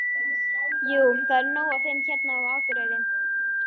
Jú, það er nóg af þeim hérna á Akureyri.